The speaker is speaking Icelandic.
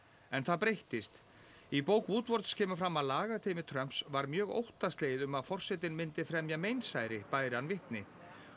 en það breyttist í bók Woodwards kemur fram að Trumps var mjög óttaslegið um að forsetinn myndi fremja meinsæri bæri hann vitni